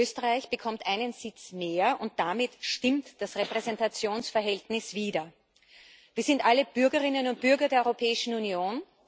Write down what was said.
Österreich bekommt einen Sitz mehr und damit stimmt das Repräsentationsverhältnis wieder. Wir sind alle Bürgerinnen und Bürger der Europäischen Union.